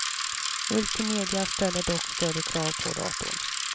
Multimedia ställer dock större krav på datorn.